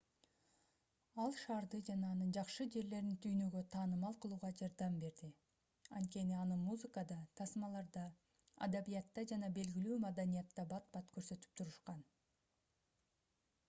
ал шаарды жана анын жакшы жерлерин дүйнөгө таанымал кылууга жардам берди анткени аны музыкада тасмаларда адабиятта жана белгилүү маданиятта бат-бат көрсөтүп турушкан